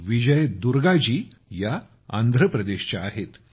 विजय दुर्गाजी या आंध्र प्रदेशच्या आहेत